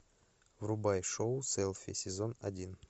врубай шоу селфи сезон один